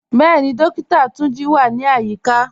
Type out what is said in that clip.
Bẹẹ̀ni, Dókìtà Túnjí wà ní ayíkà.